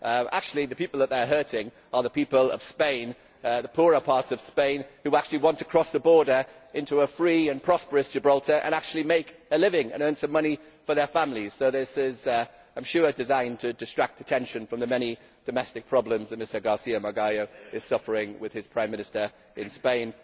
Actually the people who they are hurting are the people of Spain in the poorer parts of Spain who actually want to cross the border into a free and prosperous Gibraltar and actually make a living and earn some money for their families. So I am sure this is designed to distract attention from the many domestic problems that Mr García Magallo is suffering with his Prime Minister in Spain.